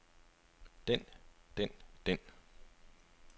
den den den